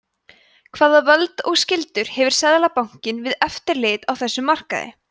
hvaða völd og skyldur hefur seðlabankinn við eftirlit á þessum markaði